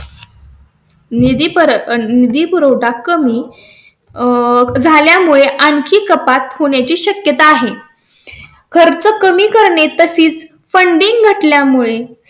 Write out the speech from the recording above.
निधी परत निधी पुरवठा कमी आह झाल्या मुळे आणखी कपात होण्याची शक्यता आहे. खर्च कमी करणे तशीच funding असल्यामुळे